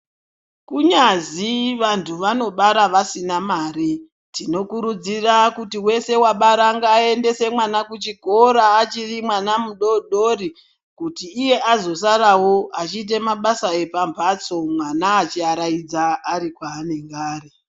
Kunyazi vantu vanobara vasina mari, tinokurudzira kuti wese wabara ngaaendese mwana kuchikora achiri mwana mudodori kuti iye azosarawo achiita mabasa epambatso mwana achiaradza ari kwaanenge ari.